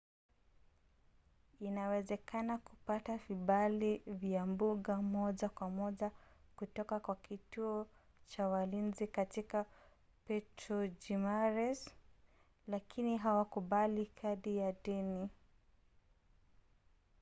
inawezekana kupata vibali vya mbuga moja kwa moja kutoka kwa kituo cha walinzi katika puerto jimerez lakini hawakubali kadi za deni